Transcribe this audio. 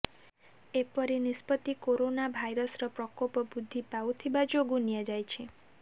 ଏପରି ନିଷ୍ପତ୍ତି କରୋନା ଭାଇରସର ପ୍ରକୋପ ବୃଦ୍ଧି ପାଉଥିବା ଯୋଗୁଁ ନିଆଯାଇଛି